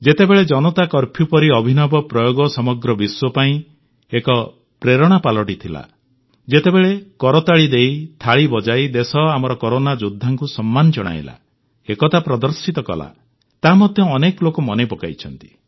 ଯେତେବେଳେ ଜନତା କର୍ଫ୍ୟୁ ପରି ଅଭିନବ ପ୍ରୟୋଗ ସମଗ୍ର ବିଶ୍ୱ ପାଇଁ ଏକ ପ୍ରେରଣା ପାଲଟିଗଲା ଯେତେବେଳେ କରତାଳି ଦେଇ ଥାଳି ବଜାଇ ଦେଶ ଆମର କରୋନା ଯୋଦ୍ଧାଙ୍କୁ ସମ୍ମାନ ଜଣାଇଲା ଏକତା ପ୍ରଦର୍ଶିତ କଲା ତାହା ମଧ୍ୟ ଅନେକ ଲୋକ ମନେ ପକାଇଛନ୍ତି